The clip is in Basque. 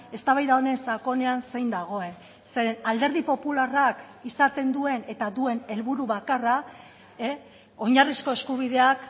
eztabaida honen sakonean zein dagoen zeren alderdi popularrak izaten duen eta duen helburu bakarra oinarrizko eskubideak